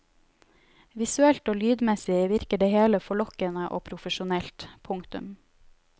Visuelt og lydmessig virker det hele forlokkende og profesjonelt. punktum